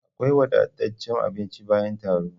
Akwai wadataccen abinci bayan taro